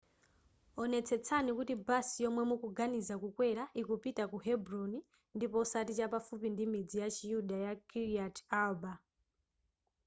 onetsetsani kuti basi yomwe mukuganiza kukwera ikupita ku hebron ndipo osati chapafupi ndimidzi ya chiyuda ya kiryat arba